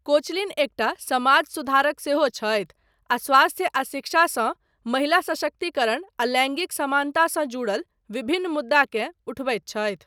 Koechlin एकटा समाज सुधारक सेहो छथि आ स्वास्थ्य आ शिक्षा सँ महिला सशक्तिकरण आ लैंगिक समानता सँ जुड़ल विभिन्न मुद्दाकेँ उठबैत छथि।